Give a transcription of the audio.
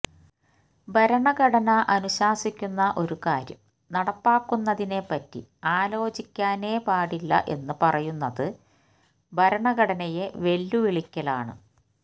ഭരണഘടന അനുശാസിക്കുന്ന ഒരു കാര്യം നടപ്പാക്കുന്നതിനെപ്പറ്റി ആലോചിക്കാനേ പാടില്ല എന്ന് പറയുന്നത് ഭരണഘടനയെ വെല്ലുവിളിക്കലാണ്